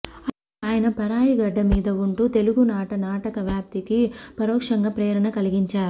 అలా ఆయన పరాయిగడ్డ మీద ఉంటూ తెలుగునాట నాటక వ్యాప్తికి పరోక్షంగా ప్రేరణ కలిగించారు